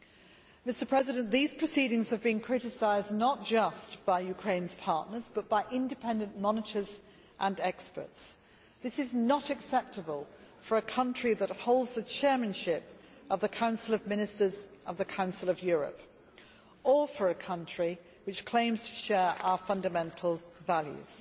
These judicial proceedings have been criticised not just by Ukraine's partners, but by independent monitors and experts. This is not acceptable for a country which holds the Chairmanship of the Council of Ministers of the Council of Europe, or for a country which claims to share our fundamental values.